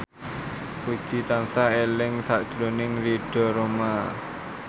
Puji tansah eling sakjroning Ridho Roma